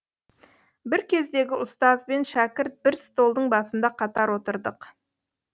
бір кездегі ұстаз бен шәкірт бір столдың басында қатар отырдық